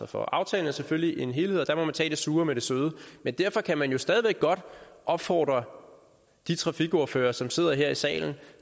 for aftalen er selvfølgelig en helhed og der må man tage det sure med det søde men derfor kan man jo stadig væk godt opfordre de trafikordførere som sidder her i salen